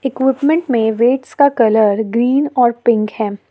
क्यूपमेंट में वेट्स का colour green और पिक है।